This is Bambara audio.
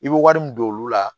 I bɛ wari min don olu la